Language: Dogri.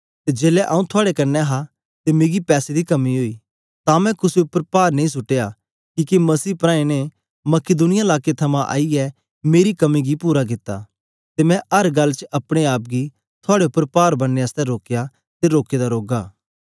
ते जेलै आंऊँ थुआड़े कन्ने हा ते मिकी पैसे दी कमी ओई तां मैं कुसे उपर पार नेई सुट्टया किके मसीह प्रांऐ ने मकिदुनिया लाकें थमां आईयै मेरी कमी गी पूरा कित्ता ते मैं अर गल्ल च अपने आप गी थुआड़े उपर पार बनने आसतै रोकया ते रोके दा रौगा